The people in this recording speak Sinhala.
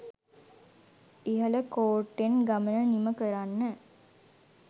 ඉහළ කෝට්ටෙන් ගමන නිම කරන්න.